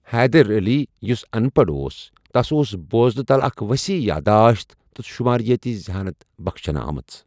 حیدر علی، یُس اَن پَڑ اوس، تس ٲس بوزنہٕ تلہٕ اکھ ؤسیع یادداشت تہٕ شُماریٲتی ذہانت بخشنہٕ آمٕژ۔